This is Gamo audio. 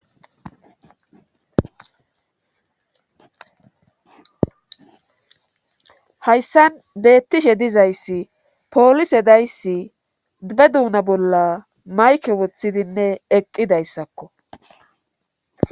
Hayssan beettishe dizayssi poolise dayssi be duuna bolla mayke woththidinne eqqidayssakko